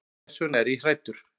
Þess vegna er ég hræddur.